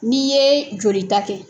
N'i ye jolita kɛ